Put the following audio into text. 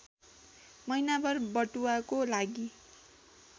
महिनाभर बटुवाको लागि